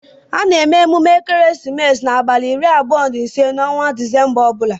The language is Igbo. A na-eme ekeresimesi n'abalị iri abụọ na ise n'ọnwa Disemba ọ bụla.